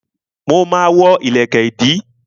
Mo ma ma wọ́ ìlẹ̀kẹ̀ ìdí